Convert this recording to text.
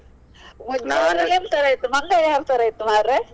ಮತ್ತೆ ಮಂಗ ಯಾವ್ ತರಾ ಇತ್ತು ಮರ್ರೆ?